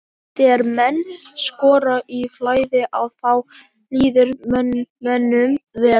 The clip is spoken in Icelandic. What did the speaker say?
Þegar menn skora í flæði að þá líður mönnum vel.